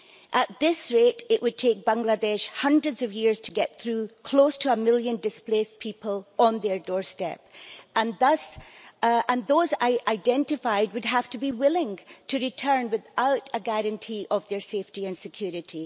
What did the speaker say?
At this rate, it would take Bangladesh hundreds of years to get through close to a million displaced people on their doorstep, and those identified would have to be willing to return without a guarantee of their safety and security.